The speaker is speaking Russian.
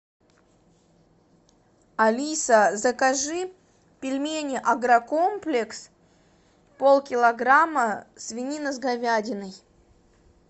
алиса закажи пельмени агрокомплекс пол килограмма свинина с говядиной